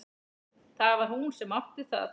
Það var hún sem átti það.